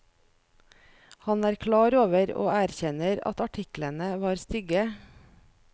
Han er klar over og erkjenner at artiklene var stygge.